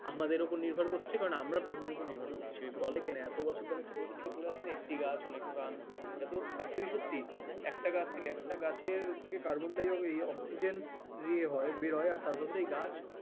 আমাদের উপর নির্ভর করছে কারণ আমরা প্রকৃতির উপর নির্ভর করছি ফলে কেন এত বছর ধরে আমি ছোটবেলা থেকে পড়ে আসছি না একটি গাছ অনেক প্রাণ এ তো actually সত্যি একটা গাছ কে একটা গাছের থেকে কার্বন ডাই এই অক্সিজেন ইয়ে হয় বের হয় তার বদলে এই গাছ